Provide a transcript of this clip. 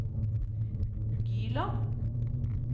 Gyland